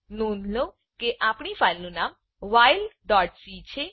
નોંધ લો કે આપણી ફાઈલનું નામ whilecછે